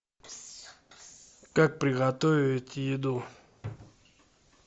как приготовить еду